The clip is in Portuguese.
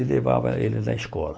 e levava ele na escola.